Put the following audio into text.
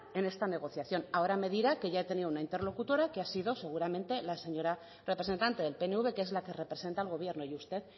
en esta negociación ahora me dirá que ya he tenido una interlocutora que ha sido seguramente la señora representante del pnv que es la que representa al gobierno y usted